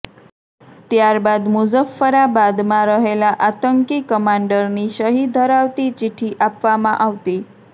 ત્યાર બાદ મુઝફ્ફરાબાદમાં રહેલા આતંકી કમાંડરની સહી ધરાવેતી ચિઠ્ઠી આપવામાં આવતી